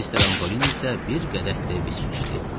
Mister Antolini isə bir qədəh də viski içdi.